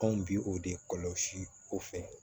Anw bi o de kɔlɔsi o fɛ